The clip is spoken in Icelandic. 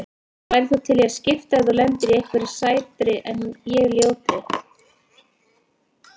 Værir þú til í að skipta ef þú lendir á einhverri sætri en ég ljótri?